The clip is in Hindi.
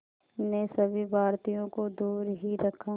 ने सभी भारतीयों को दूर ही रखा